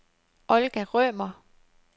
Olga Rømer